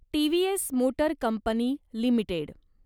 TVS motor company limited